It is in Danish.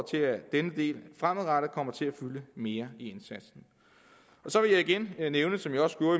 til at denne del fremadrettet kommer til at fylde mere i indsatsen så vil jeg igen nævne som jeg også gjorde